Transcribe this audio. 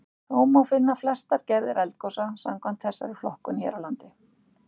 Þó má finna flestar gerðir eldgosa samkvæmt þessari flokkun hér á landi.